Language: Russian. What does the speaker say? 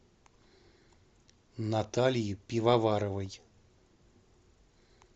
натальи пивоваровой